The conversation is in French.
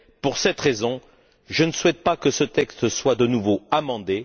Pour cette raison, je ne souhaite pas que ce texte soit de nouveau amendé.